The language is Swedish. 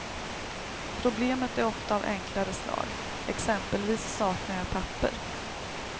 Problemet är ofta av enklare slag, exempelvis saknar jag papper.